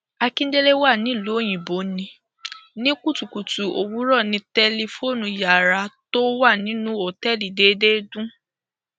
akíndélé wa nílùú òyìnbó ní ní kùtùkùtù òwúrọ ní tẹlifóònù yàrá tó wà nínú òtẹẹlì déédé dùn